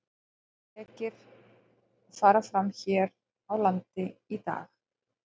Þrír lekir fara fram hér á landi í dag.